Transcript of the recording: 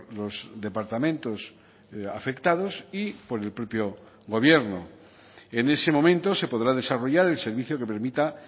los departamentos afectados y por el propio gobierno en ese momento se podrá desarrollar el servicio que permita